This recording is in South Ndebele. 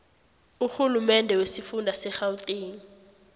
urhulumende wesifunda segauteng